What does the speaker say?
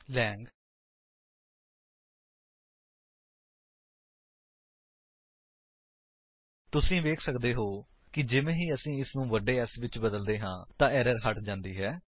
long ਤੁਸੀ ਵੇਖ ਸੱਕਦੇ ਹੋ ਕਿ ਜਿਵੇਂ ਹੀ ਅਸੀ ਇਸਨੂੰ ਵੱਡੇ S ਵਿੱਚ ਬਦਲਦੇ ਹਾਂ ਏਰਰ ਹੱਟ ਜਾਂਦੀ ਹੈ